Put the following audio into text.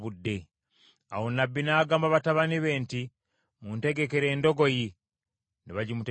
Awo nnabbi n’agamba batabani be nti, “Muntegekere endogoyi.” Ne bagimutegekera.